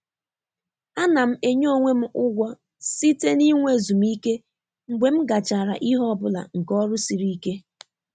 A na m enye onwe m ụgwọ site n'inwe ezumike mgbe m gachara ihe ọ bụla nke ọrụ siri ike.